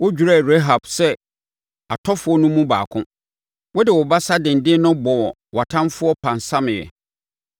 Wodwerɛɛ Rahab sɛ atɔfoɔ no mu baako; wode wo basa denden no bɔɔ wʼatamfoɔ pansameeɛ.